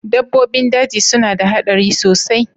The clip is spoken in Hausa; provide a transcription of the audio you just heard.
Dabbobin daji suna da haɗari sosai